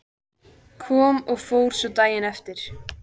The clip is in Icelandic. Kom og fór svo daginn eftir.